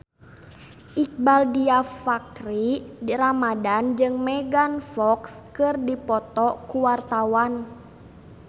Iqbaal Dhiafakhri Ramadhan jeung Megan Fox keur dipoto ku wartawan